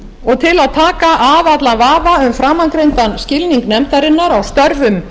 til að taka af allan vafa um framangreindan skilning nefndarinnar